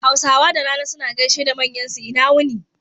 Hausawa da rana suna gaishe da manyan su, ina wuni